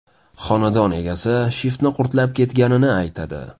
Xonadon egasi shiftni qurtlab ketganini aytadi.